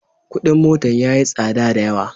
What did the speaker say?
Kudin motan yayi tsadda da yawa.